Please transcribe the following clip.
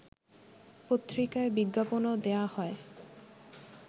পত্রিকায় বিজ্ঞাপনও দেয়া হয়